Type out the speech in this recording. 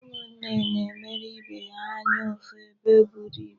Ụmụnne na-emere ibe ha anya ụfụ ebe eburu ibu.